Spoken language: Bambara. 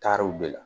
Taarow de la